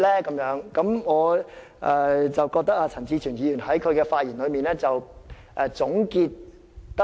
我認為陳志全議員的發言作了很好的總結。